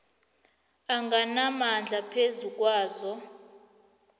anganamandla phezu kwazo